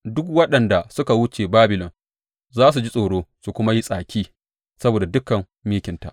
Duk waɗanda suka wuce Babilon za su ji tsoro su kuma yi tsaki saboda dukan mikinta.